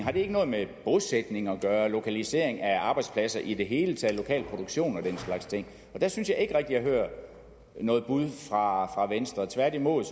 har det ikke noget med bosætning at gøre lokalisering af arbejdspladser i det hele taget lokal produktion og den slags ting der synes jeg ikke rigtig jeg hører noget bud fra venstre tværtimod